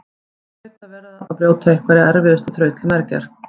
Hann hlaut að vera að brjóta einhverja erfiða þraut til mergjar.